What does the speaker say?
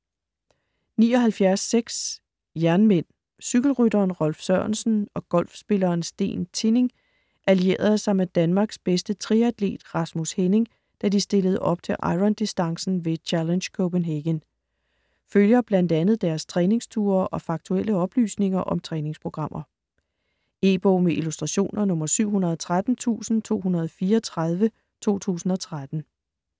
79.6 Jernmænd Cykelrytteren Rolf Sørensen og golfspilleren Steen Tinning allierede sig med Danmarks bedste triatlet Rasmus Henning, da de stillede op til irondistancen ved "Challenge Copenhagen". Følger bl.a. deres træningsture og faktuelle oplysninger om træningsprogrammer. E-bog med illustrationer 713234 2013.